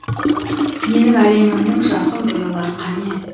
менің әлемімнің жарқын бояулары қане